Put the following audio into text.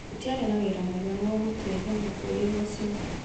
Gũtiarĩ na ũira mũiganu wa gũtuĩra mwĩkũĩrwo ũcio